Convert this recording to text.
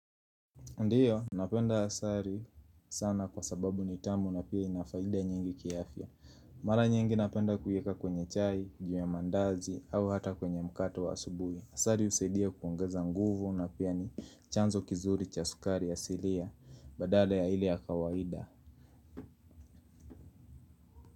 Ndiyo, napenda asali sana kwa sababu ni tamu na pia inafaida nyingi kiafya. Mara nyingi napenda kuieka kwenye chai, juu ya mandazi au hata kwenye mkate wa asubui. Asali husidia kuongeza nguvu na pia ni chanzo kizuri cha sukari ya silia. Badada ya ile ya kawaida.